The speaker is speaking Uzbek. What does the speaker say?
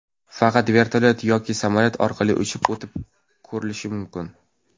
Faqat vertolyot yoki samolyot orqali uchib o‘tib, ko‘rishi mumkin.